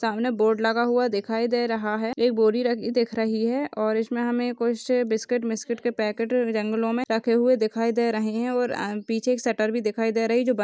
सामने बोर्ड लगा हुआ दिखाई दे रहा है एक बोरी रखी दिख रही है और इसमे हमे कुछ बिस्किट मिस्कुट के पैकेट जंगलों मे रखे हुए दिखाई दे रहे है और पीछे एक सटर भी दिखाई दे रही और जो--